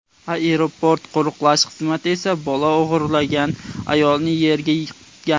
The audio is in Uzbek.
Aeroport qo‘riqlash xizmati esa bola o‘g‘irlagan ayolni yerga yiqitgan.